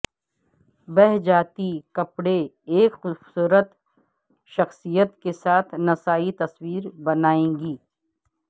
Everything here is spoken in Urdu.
بہہ جاتی کپڑے ایک خوبصورت شخصیت کے ساتھ نسائی تصویر بنائے گی